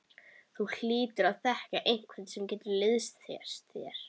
Þú hlýtur að þekkja einhvern sem getur liðsinnt þér?